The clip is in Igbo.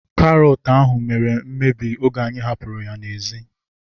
Karọt ahu mere mmebi oge anyị hapụrụ ya n'ezi